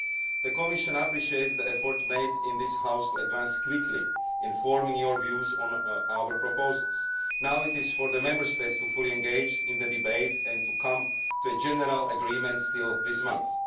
The Commission appreciates the efforts made in this House to advance quickly in forming your views on our proposals. Now it is for the Member States to fully engage in the debate and to come to a general agreement this month.